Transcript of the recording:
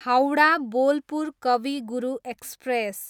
Howrah, Bolpur Kavi Guru express